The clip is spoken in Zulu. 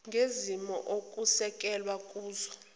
ngezimo okusekelwe kuzo